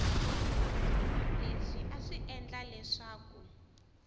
leswi a swi endla leswaku